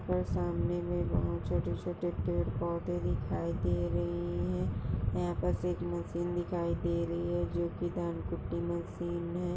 और सामने में बहोत छोटे-छोटे पेड़-पौधे दिखाई दे रहे हैं। यहाँ पर एक मशीन दिखाई दे रही है जोकि धान कुटी मशीन है।